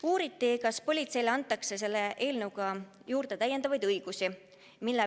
Uuriti, kas politseile antakse selle eelnõuga juurde täiendavaid õigusi.